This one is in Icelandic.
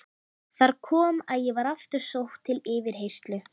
Þar kom að ég var aftur sótt til yfirheyrslu.